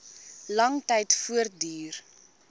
lang tyd voortduur